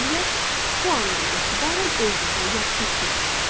Beləliklə, bu andan etibarən özünüzü yaxşı hiss edin.